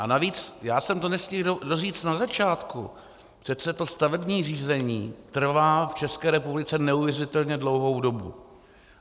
A navíc já jsem to nestihl doříct na začátku, přece to stavební řízení trvá v České republice neuvěřitelně dlouhou dobu.